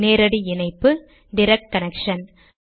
நேரடி இணைப்பு direct connection